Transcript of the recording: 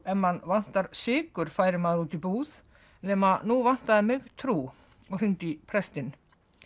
ef mann vantar sykur færi maður út í búð nema nú vantaði mig trú og hringdi í prestinn